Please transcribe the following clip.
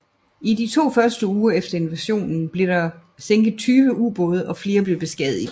I de to første uger efter invasionen blev der derved sænket 20 ubåde og flere blev beskadiget